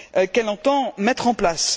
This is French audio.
qu'elle entend mettre en place.